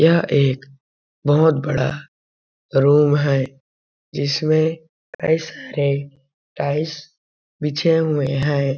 यह एक बहुत बड़ा रूम है जिसमें कई सारे टाइल्स बिछे हुए हैं ।